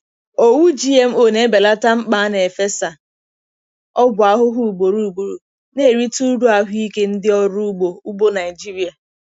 Owu GMO na-ebelata mkpa a na-efesa ọgwụ ahụhụ ugboro ugboro, na-erite uru ahụike ndị ọrụ ugbo ugbo Naịjirịa.